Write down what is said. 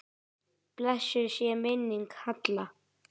Blessuð sé minning Halla.